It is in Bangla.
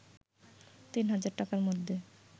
৩০০০ টাকার মধ্যে